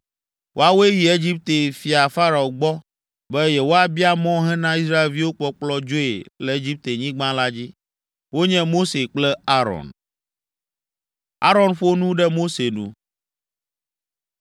Woawoe yi Egipte fia Farao gbɔ be yewoabia mɔ hena Israelviwo kpɔkplɔ dzoe le Egiptenyigba la dzi, wonye Mose kple Aron.